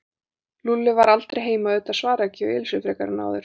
Lúlli var aldrei heima og auðvitað svaraði ekki hjá Elísu frekar en áður.